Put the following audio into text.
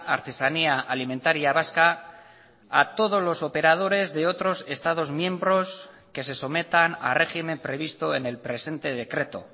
artesanía alimentaria vasca a todos los operadores de otros estados miembros que se sometan a régimen previsto en el presente decreto